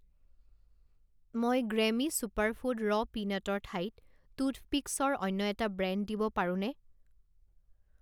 মই গ্ৰেমী ছুপাৰফুড ৰ' পিনাটৰ ঠাইত টুথপিকছৰ অন্য এটা ব্ৰেণ্ড দিব পাৰোঁনে?